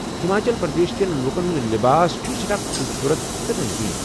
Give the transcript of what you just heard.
ہماچل پردیش کٮ۪ن لوکن ہُنٛد لباس چھُ سٮ۪ٹھاہ خوٗبصورت تہٕ رٔنٛگیٖن ۔